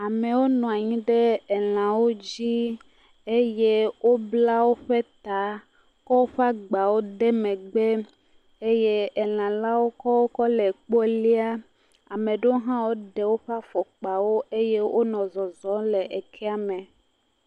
Amewo nɔ anyi ɖe elãwo dzi, eye wobla woƒe ta, kɔ woƒe agbawo de megbe eye elã la kɔo kɔle ekpɔ lia, ame ɖewo hã woɖe woƒe afɔkpawo eye wonɔ zɔzɔ le ekea me.